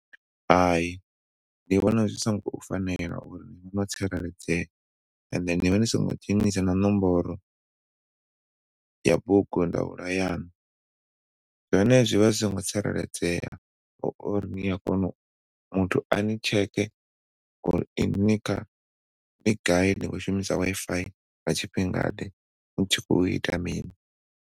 Hai, ndi vhona zwi songo fanela uri tsireledzea and then ni vha ni songo dzhenisa na ṋomboro ya bugu ndaula yanu zwone zwi vha singo tsireledzea uri ni a kona uri muthu ani tsheke uri inwi ni kha, ni gai ni khou shumisa Wi-Fi nga tshifhinga ḓe ni tshi khou ita mini.